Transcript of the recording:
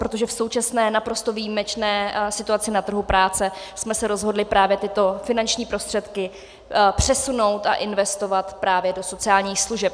Protože v současné naprosto výjimečné situaci na trhu práce jsme se rozhodli právě tyto finanční prostředky přesunout a investovat právě do sociálních služeb.